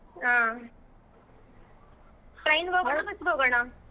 ಆಹ್ train ಗ್ ಹೋಗೋಣ bus ಗ್ ಹೋಗೋಣ?